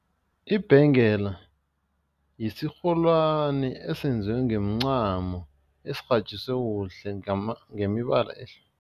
Ibhengela yisirholwane esenziwe ngemncamo esirhatjiswe kuhle ngemibala